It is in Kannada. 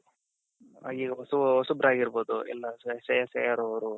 ಆ ಈ ಹೊಸ ಹೊಸಬ್ರಾಗಿರ್ಬೋದು ಎಲ್ಲಾ ಶ್ರೇಯಸ್ ಅಯ್ಯರ್ ಅವ್ರು